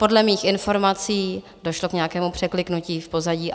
Podle mých informací došlo k nějakému překliknutí v pozadí.